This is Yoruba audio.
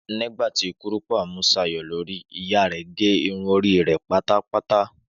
Nígbà tí kúrùpá mú Ṣayọ̀ lórí, ìyá rẹ̀ gẹ irun orí pátápátá